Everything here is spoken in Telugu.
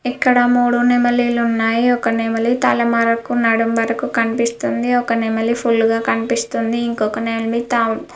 ఇక్కడ మూడు నెమలీలు ఉన్నాయి ఒక నెమలి తల మారకు నడుమ వరకు కనిపిస్తుంది ఒక నెమలి ఫుల్ గ కనిపిస్తుంది ఇంకొక నెమలి తాం --